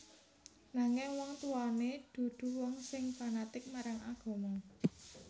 Nanging wong tuwané dudu wong sing fanatik marang agama